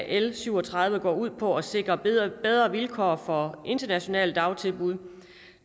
l syv og tredive går ud på at sikre bedre vilkår for internationale dagtilbud